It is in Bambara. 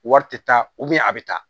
Wari tɛ taa a bɛ taa